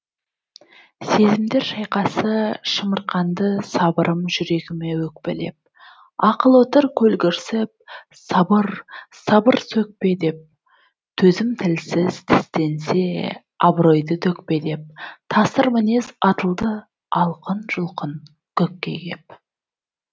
сезімдер шайқасышамырқанды сабырым жүрегіме өкпелеп ақыл отыр көлгірсіп сабыр сабыр сөкпе дептөзім тілсіз тістенсе абыройды төкпе деп тасыр мінез атылды алқын жұлқын көкке кеп